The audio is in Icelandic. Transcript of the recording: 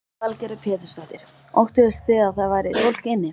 Lillý Valgerður Pétursdóttir: Óttuðust þið að það væri fólk inni?